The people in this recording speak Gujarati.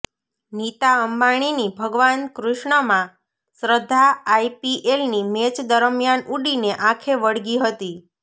નીતા અંબાણીની ભગવાન કૃષ્ણમાં શ્રદ્ધા આઈપીએલની મેચ દરમિયાન ઉડીને આંખે વળગી હતી